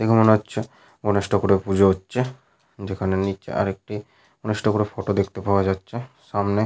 দেখে মনে হচ্ছে গণেশ ঠাকুরের পূজো হচ্ছে। যেখানে নিচে আরেকটি গণেশ ঠাকুরের ফটো দেখতে পাওয়া যাচ্ছে। সামনে--